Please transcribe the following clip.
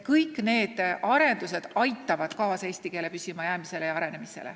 Kõik need arendused aitavad kaasa eesti keele püsimajäämisele ja arenemisele.